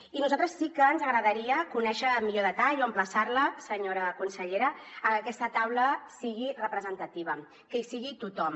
i a nosaltres sí que ens agradaria conèixer millor detall o emplaçar la senyora consellera a que aquesta taula sigui representativa que hi sigui tothom